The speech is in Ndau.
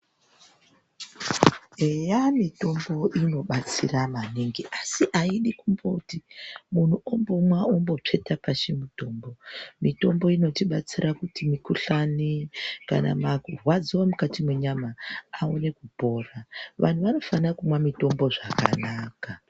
Eya mitombo inobatsira maningi asi aidi kumboti mundu ombomwa ombotsveta pashi mutombo. Mitombo inotibatsira kuti mikuhlani kana marwadzo emukati menyama aone kupora. Vandu vanofana kumwa mitombo zvakanaka.